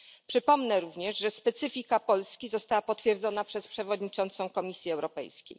Przypomnę również, że specyfika Polski została potwierdzona przez przewodniczącą Komisji Europejskiej.